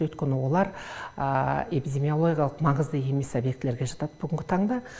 өйткені олар эпидемиологиялық маңызды емес объектілерге жатады бүгінгі таңда